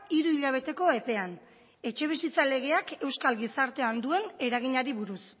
hiru hilabeteko epean etxebizitza legeak euskal gizartean duen eraginari buruz